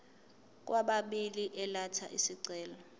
kwababili elatha isicelo